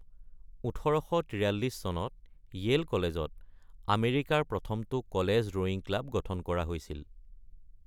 ১৮৪৩ চনত য়েইল কলেজত আমেৰিকাৰ প্ৰথমটো কলেজ ৰোয়িং ক্লাব গঠন কৰা হৈছিল।